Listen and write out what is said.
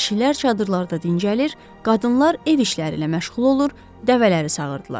Kişilər çadırlarda dincəlir, qadınlar ev işləri ilə məşğul olur, dəvələri sağırdılar.